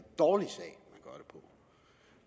dårlig sag